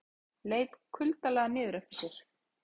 Leit kuldalega niður eftir sér.